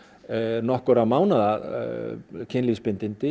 nokkurra mánaða